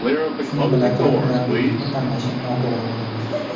Shuni bila turib, murabbiylikni tanlashim noto‘g‘ri bo‘ladi.